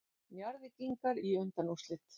Njarðvíkingar í undanúrslit